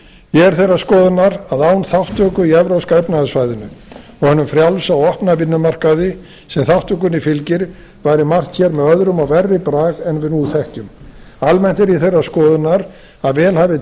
er þeirrar skoðunar að án þátttöku í evrópska efnahagssvæðinu og hinum frjálsa og opna vinnumarkaði sem þátttökunni fylgir væri margt hér með öðrum og verri brag en við nú þekkjum almennt er ég þeirrar skoðunar að vel hafi